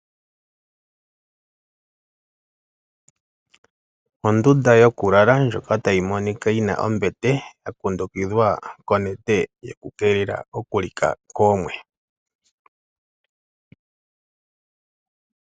Ondunda yokulala ndjoka tayi monika yi na ombete ya kundukidhwa konete yokukeelela okulika koomwe.